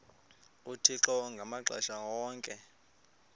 uthixo ngamaxesha onke